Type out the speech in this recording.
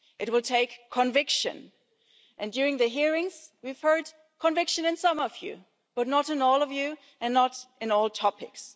It will take conviction. During the hearings we've heard conviction in some of you, but not in all of you, and not on all topics.